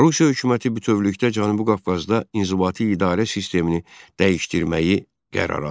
Rusiya hökuməti bütövlükdə Cənubi Qafqazda inzibati idarə sistemini dəyişdirməyi qərara aldı.